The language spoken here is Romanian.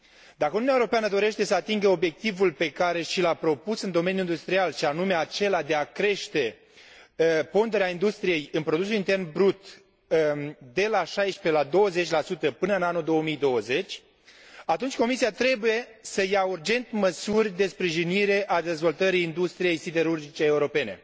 Dacă Uniunea Europeană dorește să atingă obiectivul pe care și l a propus în domeniul industrial, și anume acela de a crește ponderea industriei în produsul intern brut de la 16 la 20 până în anul 2020, atunci Comisia trebuie să ia urgent măsuri de sprijinire a dezvoltării industriei siderurgice europene.